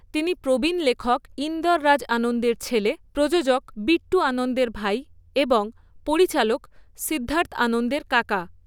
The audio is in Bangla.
তিনি প্রবীণ লেখক ইন্দর রাজ আনন্দের ছেলে, প্রযোজক বিট্টু আনন্দের ভাই এবং পরিচালক সিদ্ধার্থ আনন্দের কাকা।